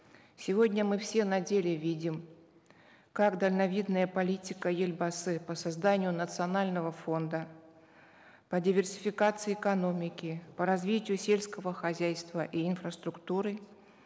сегодня мы все на деле видим как дальновидная политика елбасы по созданию национального фонда по диверсификации экономики по развитию сельского хозяйства и инфраструктуры